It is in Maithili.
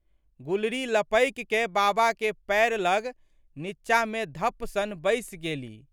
गुलरी लपकिकए बाबाके पएर लग नींचामे धप्प सन बैसि गेलि।